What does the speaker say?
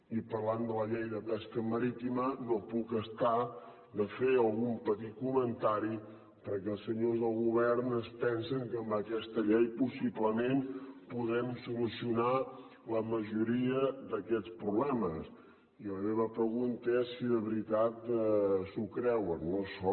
i parlant de la llei de pesca marítima no puc estarme de fer algun petit comentari perquè els senyors del govern es pensen que amb aquesta llei possiblement podrem solucionar la majoria d’aquests problemes i la meva pregunta és si de veritat s’ho creuen no això